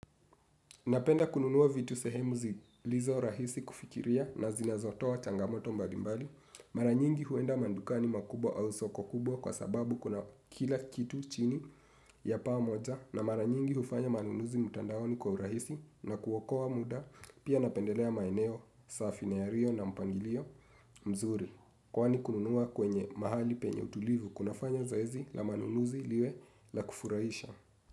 Napenda kununua vitu sehemu zilizo rahisi kufikiria na zinazotoa changamoto mbalimbali. Mara nyingi huenda madukani makubwa au soko kubwa kwa sababu kuna kila kitu chini ya paa moja. Na mara nyingi hufanya manunuzi mtandaoni kwa urahisi na kuokoa muda pia napendelea maeneo safi na yaliyo na mpangilio mzuri. Kwani kununua kwenye mahali penye utulivu kunafanya zoezi la manunuzi liwe la kufurahisha.